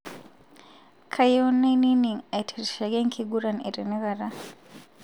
kayieu nainining' aitirishaki enkiguran etenakata